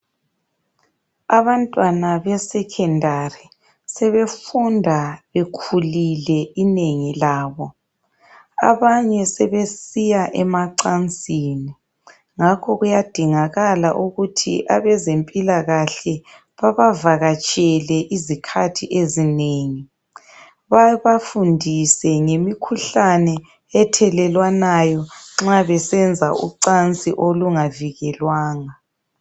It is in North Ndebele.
Abantwana be"Secondary sebefunda bekhulile inengi labo, abanye sebesiya emacansini ngakho kuyadingakala ukuthi abezempilakahle babavakatshele izikhathi ezinengi babafundise ngemikhuhlane ethelelwanayo mabesenza ucansi olungavikelwanga.